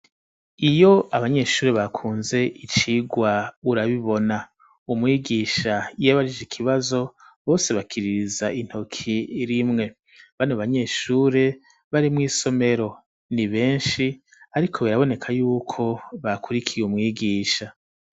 Iyo abanyeshuri bakunze icirwa urabibona umwigisha iyo abajije ikibazo bose bakiririza intoki rimwe ba banyeshuri bari mw'isomero ni beshi ariko biraboneka yuko bakurikiye umwigisha